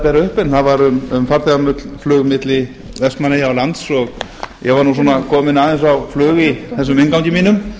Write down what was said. upp en það var um farþegaflug milli vestmannaeyja og lands ég var svona kominn aðeins á flug í þessum inngangi mínum